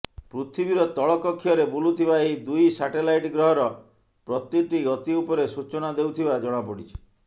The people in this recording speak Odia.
ପୃଥିବୀର ତଳ କକ୍ଷରେ ବୁଲୁଥିବା ଏହି ଦୁଇ ସାଟେଲାଇଟ୍ ଗ୍ରହର ପ୍ରତିଟି ଗତି ଉପରେ ସୂଚନା ଦେଉଥିବା ଜଣାପଡ଼ିଛି